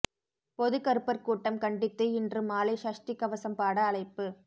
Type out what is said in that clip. பொது கருப்பர் கூட்டம் கண்டித்து இன்று மாலை சஷ்டி கவசம் பாட அழைப்பு